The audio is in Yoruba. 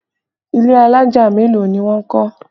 Ilé alájà mélòó ni wọ́n kọ́?